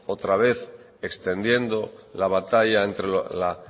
otra vez extendiendo la batalla entre la